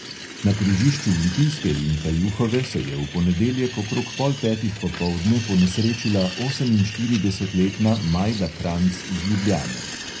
Na križišču litijske in kajuhove se je v ponedeljek okrog pol petih popoldne ponesrečila oseminštiridesetletna majda kranjc iz ljubljane.